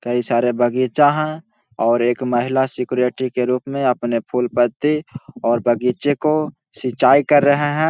कई सारे बगीचा है और एक महिला सेक्रेटरी के रूप में अपने फूल-पत्ती और बगीचे को सिंचाई कर रहे है।